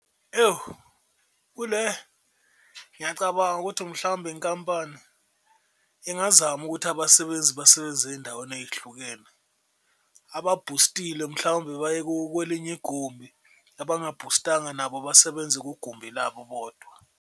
Ewu kule ngiyacabanga ukuthi mhlawumbe inkampani ingazama ukuthi abasebenzi basebenze ey'ndaweni ey'hlukene, ababhustile mhlawumbe baye kwelinye igumbi, abangabhustanga nabo basebenze kugumbi labo bodwa.